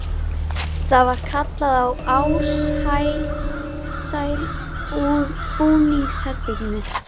Það var kallað á Ársæl úr búningsherberginu.